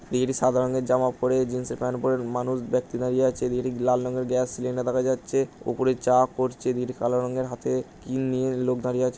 সাদা রঙের জামা পরে জিন্সে -এর প্যান্ট পড়ে মানুষ ব্যাক্তি দাঁড়িয়ে আছে লাল রঙের গ্যাস সিলিন্ডার দেখা যাচ্ছে ওপরে চা পড়ছে নীল কালো রঙের হাতে কি নিয়ে লোক দাঁড়িয়ে আছে ।